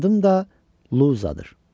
Adım da Luzadır.